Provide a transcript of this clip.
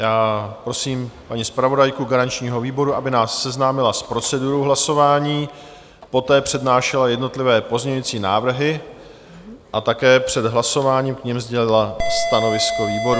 Já prosím paní zpravodajku garančního výboru, aby nás seznámila s procedurou hlasování, poté přednášela jednotlivé pozměňující návrhy a také před hlasováním k nim sdělila stanovisko výboru.